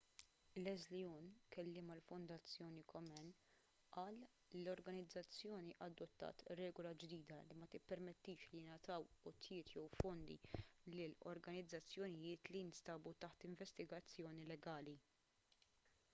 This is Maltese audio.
leslie aun kelliem għall-fondazzjoni komen qal li l-organizzazzjoni adottat regola ġdida li ma tippermettix li jingħataw għotjiet jew fondi lil organizzazzjonijiet li jinsabu taħt investigazzjoni legali